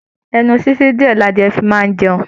Ẹnu sisi diẹ ni adìyẹ̀ fi máa n jẹun.